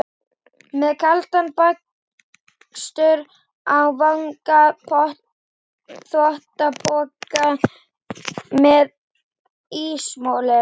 Með kaldan bakstur á vanga, þvottapoka með ísmolum.